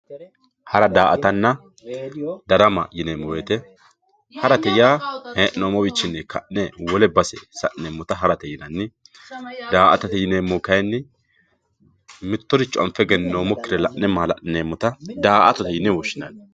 Hara, daa'attanna darama yineemo woyite harate yaa hee'noomowinni ka'ne wole base sa'neemotta harate yinanni, daa'attatte yineemohu kayinnim mitoricho la'ne eggeninoomokire la'ne maalali'neemotta daa'attotte yine woshinani